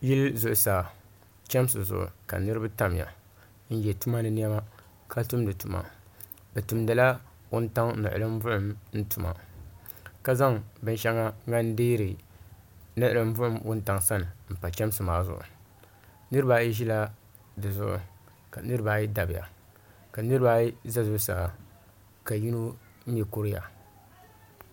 Yili zuɣusaa chemsi zuɣu ka niriba tamya n ye tumani niɛma ka tumdi tuma bɛ tumdila wuntaŋa niɣilim buɣum tuma ka zaŋ binsheŋa din deeri niɣilim buɣum wuntaŋa sani m pa chemsi maa zuɣu niriba ayi ʒila dizuɣu ka niriba ayi dabiya ka niriba ayi za zuɣusaa ka yino mee kuriya.